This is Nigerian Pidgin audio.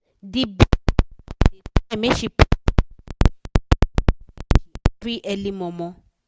d business woman da try make she put something inside dia adashi every early momo